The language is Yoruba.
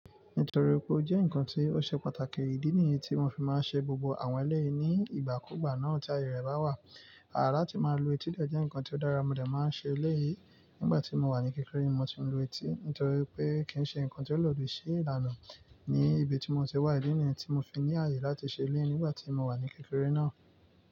Nítorí pé ó jẹ́ ǹkan tó ṣe pàtàkì, ìdí nìyí tí wọ́n fi máa ń ṣe gbogbo àwọn eléèyi nií ìgbàkúgbà náà tí ayé rẹ̀ bá wà. Àrà tí máa ń lo etí jẹ́ ǹkan tó dára, mo dà máa ń ṣe eléèyí nígbà tí mo wà ní kékeré ni mo ti ń lo etí, nítorí pé kì ń ṣe ǹkan tó lè lòdì sí ìlànà ní ibi tí mo ti wà, ìdí nìyí tí mo fi ní àyè láti ṣe eléèyí nígbà tí mo wà ní kékeré náà.